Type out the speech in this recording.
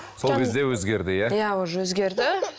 сол кезде өзгерді иә иә уже өзгерді